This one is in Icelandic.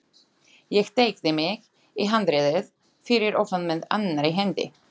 Ég teygði mig í handriðið fyrir ofan með annarri hendi.